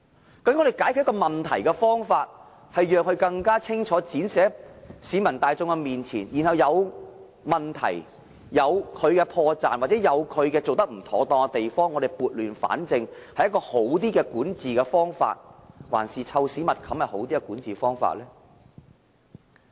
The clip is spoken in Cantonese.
究竟我們解決問題的方法，是讓它更清楚的展示在市民大眾面前，將有問題、破綻或做得不妥當的地方撥亂反正是一種較好的管治方法，還是"臭屎密冚"是另一種好的管治方法呢？